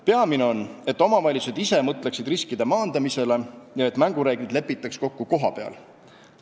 Peamine on, et omavalitsused ise mõtleksid riskide maandamisele ja et mängureeglid lepitaks kokku kohapeal.